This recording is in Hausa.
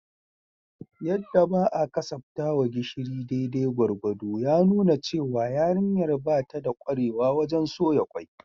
Yadda ba a kasaftawa gishiri daidai gwargwado ya nuna cewa yarinyar ba ta da kwarewa wajen soya kwai